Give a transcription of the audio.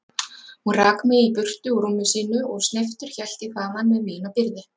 Hún rak mig burtu úr rúmi sínu og sneyptur hélt ég þaðan með mína byrði.